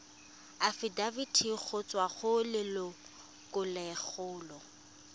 afitafiti go tswa go lelokolegolo